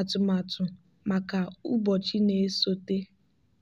atụmatụ maka ụbọchị na-esote.